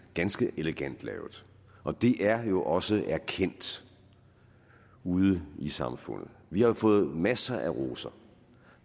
er ganske elegant lavet og det er jo også erkendt ude i samfundet vi har fået masser af roser